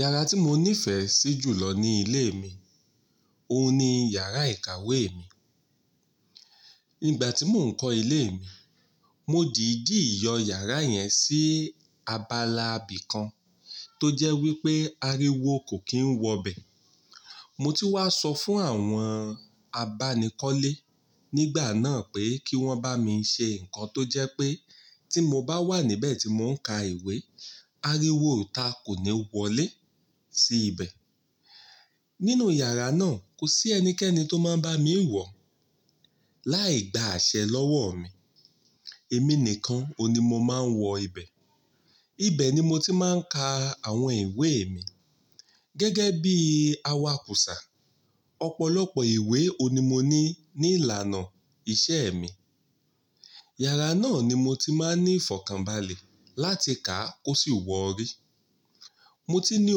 Yàrá tí mo nífẹ̀ẹ́ sí jù lọ ní ilé mi, òun ni yàrá ìkàwé mi. Nígbà tí mò ń kọ́ ilé mi, mo dìdí yọ yàrá yẹn sí abala ibìkan tó jẹ́ wípé aréwo kò kí ń wọ bẹ̀. Mo ti wá sọ fún àwọn abánikọ́lé nígbà náà pé kí wọ́n bá mi ṣe ǹkan tó jẹ́ pé tí mo bá wà níbẹ̀ tí mò ń ka ìwé, aríwo òòtá kò ní wọlé sí ibẹ̀. Nínú yàrá náà, kò sí ẹnikẹ́ni tó máa ń bá mi wọ̀ láì gba àṣẹ lọ́wọ́ mi. Èmi nìkan òun ni mo máa ń wọ ibẹ̀. Ibẹ̀ ni mo ti máa ń ka àwọn ìwé mi. Gẹ́gẹ́ bí awakùsà, ọ̀pọ̀lọpọ̀ ìwé òun ni mo ní ní ìlànà iṣẹ́ mi. Yàrá náà ni mo ti máa ń ní ìfọ̀kànbalẹ̀ láti kà á kó sì wọ̀ ó rí. Mo ti ní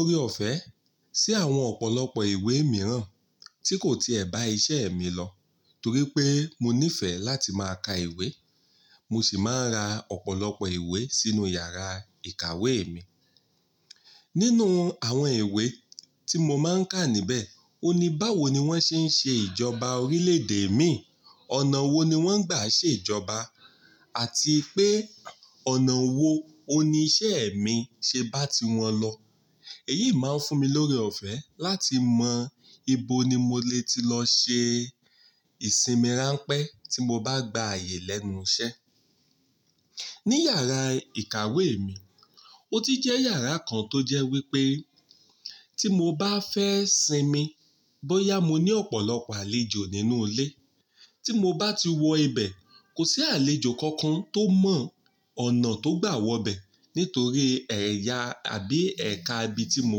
ọ̀rẹ́ ọ̀fẹ́ sí àwọn ọ̀pọ̀lọpọ̀ ìwé mìíràn tí kò tiẹ̀ bá iṣẹ́ mi lọ torí pé mo nífẹ̀ẹ́ láti máa ka ìwé, mo sì máa ń ra ọ̀pọ̀lọpọ̀ ìwé sínú yàrá ìkàwé mi. Nínú àwọn ìwé tí mo máa ń kà níbẹ̀, òun ni báwo ni wọ́n ṣe ń ṣe ìjọba orílẹ̀ èdè mi, ọ̀nà wo ni wọ́n gbà ṣe ìjọba àti pé ọ̀nà wo òun ni iṣẹ́ mi ṣe bá ti wọn lọ. Èyí máa ń fún mi lórí ọ̀fẹ́ láti mọ ibo ni mo lé ti lọ ṣe ìsinmi ránpẹ́ tí mo bá gba àyè lẹ́nu iṣẹ́. Ní yàrá ìkàwé mi, ó ti jẹ́ yàrá kan tó jẹ́ wípé tí mo bá fẹ́ sinmi bóyá mo ní ọ̀pọ̀lọpọ̀ àlejò nínú ilé, tí mo bá ti wọ ibẹ̀, kò sí àlejò kankan tó mọ̀ ọ̀nà tó gbà wọ bẹ̀ nítorí ẹ̀yà àbí ẹ̀ka ibi tí mo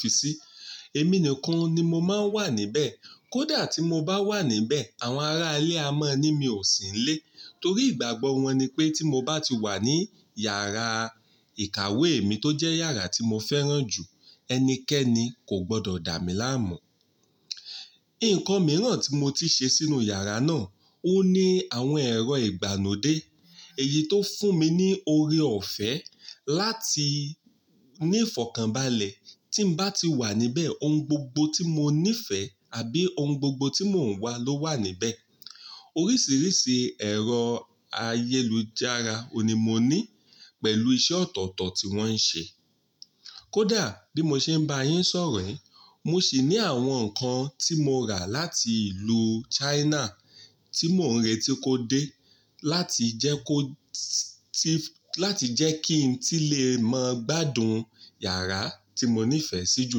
fi sí. Èmi nìkan ni mo máa ń wà níbẹ̀. Kódà tí mo bá wà níbẹ̀, àwọn ará ilé a mọ̀ ní mi ò sí nílé torí ìgbàgbọ́ wọn ni pé tí mo bá ti wà ní yàrá ìkàwé mi tó jẹ́ yàrá tí mo fẹ́ràn jù, ẹnikẹ́ni kò gbọdọ̀ dà mí láàmú. Ǹkan mìíràn tí mo ti ṣe sínú yàrá náà, òun ni àwọn ẹ̀rọ ìgbàlódé. Èyí tó fún mi ní oré ọ̀fẹ́ láti ní ìfọ̀kànbalẹ̀ tí ń bá ti wà níbẹ̀, ohun gbogbo tí mo nífẹ̀ẹ́ àbí ohun gbogbo tí mò ń wá ló wà níbẹ̀. Oríṣìíríṣìí ẹ̀rọ ayélujára òun ni mo ní pẹ̀lú iṣẹ́ ọ̀tọ̀ọ̀tọ̀ tí wọ́n ń ṣe. Kódà bí mo ṣe ń bá yín sọ̀rọ̀ yìí, mo sì ní àwọn ǹkan tí mo rà láti ìlú China tí mò ń retí kó dé láti jẹ́ kó ti-- láti jẹ́ kí n tí lè mọ gbádùn yàrá tí mo nífẹ̀ẹ́ sí jù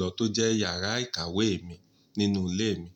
lọ tó jẹ́ yàrá ìkàwé mi nínú ilé mi.